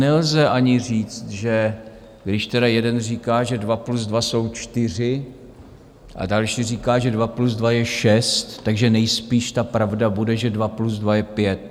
Nelze ani říct, že když tedy jeden říká, že dva plus dva jsou čtyři, a další říká, že dva plus dva je šest, takže nejspíš ta pravda bude, že dva plus dva je pět.